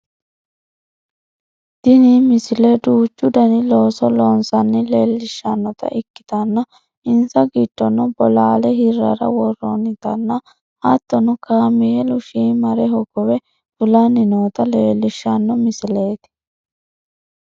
tini misile duuchu dani looso loonsanna leellishshannota ikkitanna insa giddono bolaale hirrara worroonnitanna hattono kameelu shiimare hogowe fulanni noota leellishshanno misileeti